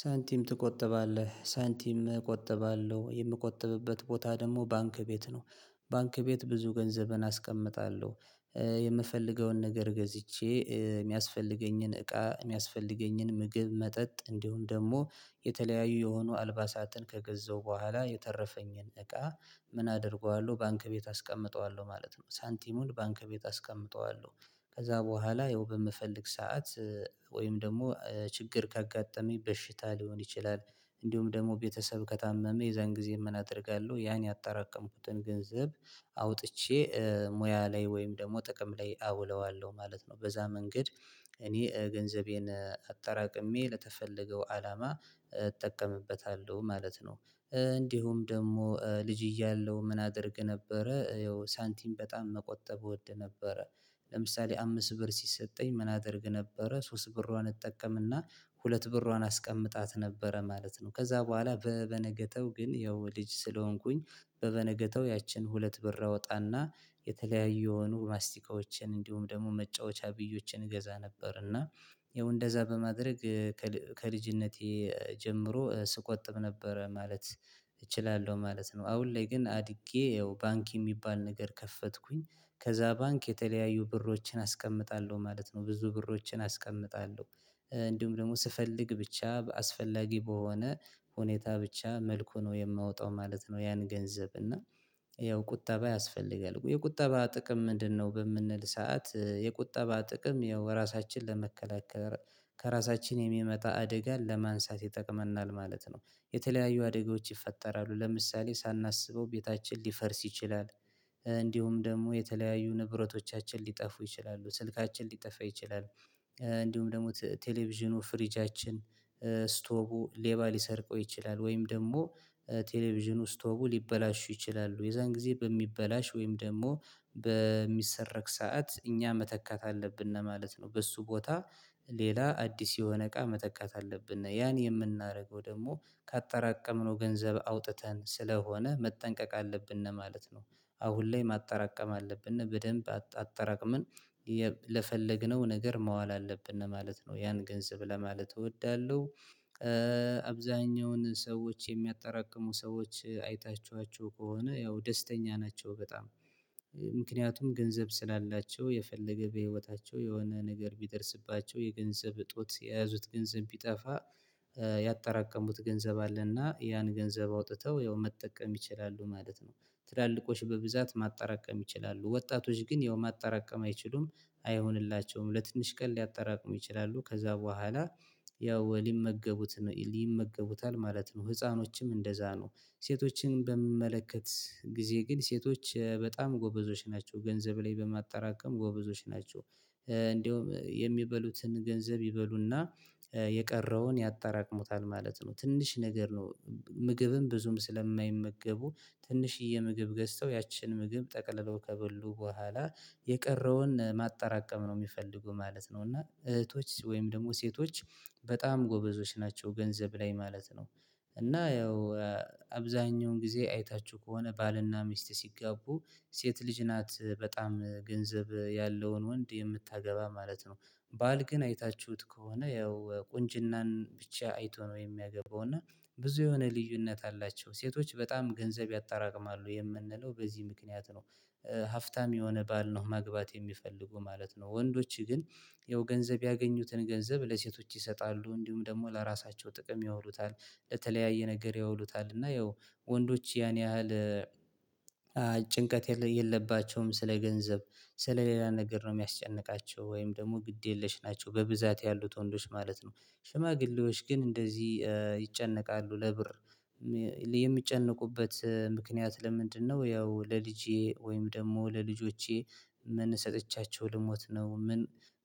ሳንቲም ትቆጠባለህ ሳንቲም እቆጥባለሁ የምቆጥብበት ቦታ ደግሞ ባንክ ቤት ነው ባንክ ቤት ብዙ ገንዘብን አስቀምጣለሁ። የምፈልገውን ነገር ገዝቼ የሚያስፈልገኝን እቃ የሚያስፈልገኝን ምግብ መጠጥ እንዲሁም ደግሞ የተለያዩ የሆኑ አልባሳትን ከገዛው በኋላ የተረፈኝን እቃ ምን አደርገዋለሁ ባንክ ቤት አስቀምጠዋለሁ ማለት ነው። ሳንቲሙን ባንክ ቤት አስቀምጠዋለሁ ከዛ በኋላ የው በምፈልግ ሰዓት ወይም ደግሞ ችግር ካጋጠመኝ በሽታ ሊሆን ይችላል። እንዲሁም ደግሞ ቤተሰብ ከታመመ የዛን ጊዜ ምን አደርጋለሁ ያን ያጠራቀምኩትን ገንዘብ አውጥቼ ሙያ ላይ ወይም ደግሞ ጥቅም ላይ አውለዋለሁ ማለት ነው። በዛ መንገድ እኔ ገንዘቤን አጠራቅሜ ለተፈለገው አላማ እጠቀምበታለሁ ማለት ነው። እንዲሁም ደግሞ ልጅ እያለሁ ምን አደርግ ነበረ ያው ሳንቲም በጣም መቆጠብ እወድ ነበረ። ለምሳሌ አምስት ብር ሲሰጠኝ ምን አደርግ ነበረ ሶስት ብሯን እጠቀምና ሁለት ብሯን አስቀምጣት ነበረ ማለት ነው። ከዛ በኋላ በበነገተው ግን ያው ልጅ ስለሆንኩኝ በበነገተው ያችን ሁለት ብር አወጣና የተለያዩ የሆኑ ማስቲካዎችን እንዲሁም ደግሞ መጫወቻ ብዮችን እገዛ ነበርና። ይኸው እንደዛ በማድረግ ከልጅነቴ ጀምሮ ስቆጥብ ነበረ ማለት እችላለሁ ማለት ነው። አሁን ላይ ግን አድጌ ያው ባንክ የሚባል ነገር ከፈትኩኝ ከዛ ባንክ የተለያዩ ብሮችን አስቀምጣለሁ ማለት ነው። ብዙ ብሮችን አስቀምጣለሁ እንዲሁም ደግሞ ስፈልግ ብቻ በአስፈላጊ በሆነ ሁኔታ ብቻ መልኩ ነው የማወጣው ማለት ነው። ያን ገንዘብ እና ይኸው ቁጠባ ያስፈልጋል የቁጠባ ጥቅም ምንድነው? በምንል ሰዓት የቁጠባ ጥቅም ያው ራሳችንን ለመከላከል ከራሳችን የሚመጣ አደጋ ለማንሳት ይጠቅመናል ማለት ነው። የተለያዩ አደጋዎች ይፈጠራሉ ለምሳሌ ሳናስበው ቤታችን ሊፈርስ ይችላል። እንዲሁም ደግሞ የተለያዩ ንብረቶቻችን ሊጠፉ ይችላሉ ስልካችን ሊጠፋ ይችላሉ። እንዲሁም ደግሞ ቴሌቪዥኑ ፍሪጃችን ስቶቡ ሌባ ሊሰርቀው ይችላል ወይም ደግሞ ቴሌቪዥኑ ስቶቡ ሊበላሹ ይችላሉ የዛን ጊዜ በሚበላሽ ወይም ደግሞ በሚሰረክ ሰዓት እኛ መተካት አለብን ማለት ነው። በሱ ቦታ ሌላ አዲስ የሆነ እቃ መተካት አለብን ያን የምናደርገው ደግሞ ካጠራቀምነው ገንዘብ አውጥተን ስለሆነ መጠንቀቅ አለብን ነው ማለት ነው። አሁን ላይ ማጠራቀም አለብን በደንብ አጠራቅመን ለፈለግነው ነገር ማዋል አለብን ማለት ነው ያን ገንዘብ ለማለት እወዳለሁ። አብዛኛውን ሰዎች የሚያጠራቅሙ ሰዎች አይታችኋቸው ከሆነ ያው ደስተኛ ናቸው በጣም። ምክንያቱም ገንዘብ ስላላቸው የፈለገ በህይወታቸው የሆነ ነገር ቢደርስባቸው የገንዘብ እጦት የያዙት ገንዘብ ቢጠፋ። ያጠራቀሙት ገንዘብ አለና ያን ገንዘብ አውጥተው ያው መጠቀም ይችላሉ ማለት ነው። ትላልቆች በብዛት ማጣራቀም ይችላሉ ወጣቶች ግን ያው ማጣራቀም አይችሉም። አይሆንላቸውም ለትንሽ ቀን ሊያጠራቅሙ ይችላሉ ከዛ በኋላ ያው ወሊመገቡት ነው ይመገቡታል ማለት ነው ህፃኖችም እንደዛ ነው። ሴቶችን በምመለከት ጊዜ ግን ሴቶች በጣም ጎበዞች ናቸው ገንዘብ ላይ በማጠራቀም ጎበዞች ናቸው። እንደውም የሚበሉትን ገንዘብ ይበሉና የቀረውን ያጠራቅሙታል ማለት ነው። ትንሽ ነገር ነው ምግብም ብዙም ስለማይመገቡ ትንሽዬ ምግብ ገዝተው ያችን ምግብ ጠቅልሎ ከበሉ በኋላ የቀረውን ማጠራቀም ነው የሚፈልጉ ማለት ነው። እና እህቶች ወይም ደግሞ ሴቶች በጣም ጎበዞች ናቸው ገንዘብ ላይ ማለት ነው። እና ያው አብዛኛውን ጊዜ አይታችሁ ከሆነ ባልና ሚስት ሲጋቡ ሴት ልጅ ናት በጣም ገንዘብ ያለውን ወንድ የምታገባ ማለት ነው። ባል ግን አይታችሁት ከሆነ ያው ቁንጅናን ብቻ አይቶ ነው የሚያገባው እና ብዙ የሆነ ልዩነት አላቸው ሴቶች በጣም ገንዘብ ያጠራቅማሉ የምንለው በዚህ ምክንያት ነው። ሀፍታም የሆነ ባል ነው መግባት የሚፈልጉ ማለት ነው። ወንዶች ግን ያው ገንዘብ ያገኙትን ገንዘብ ለሴቶች ይሰጣሉ እንዲሁም ደግሞ ለራሳቸው ጥቅም ያውሉታል። ለተለያየ ነገር ያውሉታል እና ያው ወንዶች ያን ያህል ጭንቀት የለባቸውም ስለ ገንዘብ ስለ ሌላ ነገር ነው የሚያስጨንቃቸው ወይም ደግሞ ግድ የለሽ ናቸው በብዛት ያሉት ወንዶች ማለት ነው። ሽማግሌዎች ግን እንደዚህ ይጨነቃሉ ለብር የሚጨነቁበት ምክንያት ለምንድነው? ያው ለልጄ ወይም ደግሞ ለልጆቼ ምን ሰጥቻቸው ልሞት ነው ምን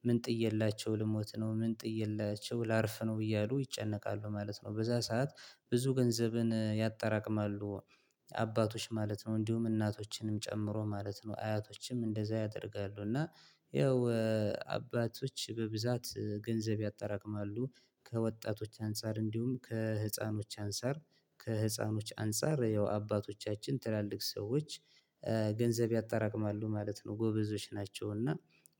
ምን ጥየላቸው ልሞት ነው ምን ጥየላቸው ላርፍ ነው እያሉ ይጨነቃሉ ማለት ነው። በዛ ሰዓት ብዙ ገንዘብን ያጠራቅማሉ። አባቶች ማለት ነው እንዲሁም እናቶችንም ጨምሮ ማለት ነው አያቶችም እንደዛ ያደርጋሉ እና ያው አባቶች በብዛት ገንዘብ ያጠራቅማሉ። ከወጣቶች አንፃር እንዲሁም ከህፃኖች አንፃር ከህፃኖች አንፃር ያው አባቶቻችን ትላልቅ ሰዎች ገንዘብ ያጠራቅማሉ ማለት ነው። ጎበዞች ናቸው። እና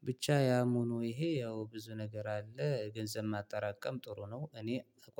ብቻ ያም ሆኖ ይሄ ያው ብዙ ነገር አለ ገንዘብ ማጠራቀም ጥሩ ነው። እኔ